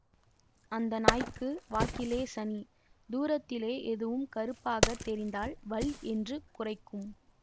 அந்த நாய்க்கு வாக்கிலே சனி தூரத்திலே எதுவும் கறுப்பாகத் தெரிந்தால் வள் என்று குரைக்கும்